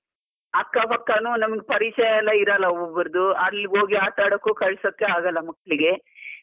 ಅಕ್ಕ ಪಕ್ಕನು ನಮ್ಗೆ ಪೆರಿಚಯ ಎಲ್ಲ ಇರಲ್ಲ ಒಬ್ಬರೊಬ್ಬರದ್ದು, ಅಲ್ಲಿ ಹೋಗಿ ಆಟಡಕ್ಕೂ ಕಳ್ಸೋಕೆ ಆಗಲ್ಲ ಮಕ್ಲಿಗೆ.